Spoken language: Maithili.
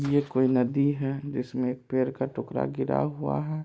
ये कोई नदी है जिसमे एक पेड़ का टुकड़ा गिरा हुआ है।